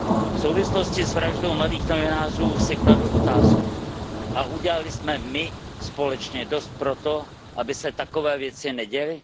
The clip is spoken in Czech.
V souvislosti s vraždou mladých novinářů si kladu otázku Udělali jsme my společně dost pro to, aby se takové věci neděly?